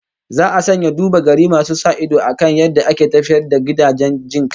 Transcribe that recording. Za a sanya duba-gari masu sa ido akan yadda ake tafiyar da gidajen jin kai